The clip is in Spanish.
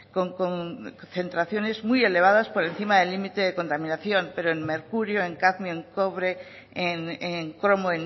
con concentraciones muy elevadas por encima del límite de contaminación pero en mercurio en cadmio en cobre en cromo